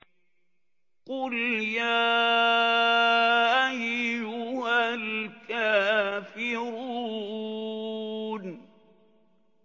قُلْ يَا أَيُّهَا الْكَافِرُونَ